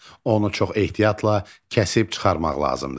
Onu çox ehtiyatla kəsib çıxarmaq lazımdır.